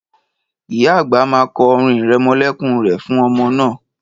Ìyá àgbà ma kọ orin irẹmọlẹ́kún re fún ọmọ náà.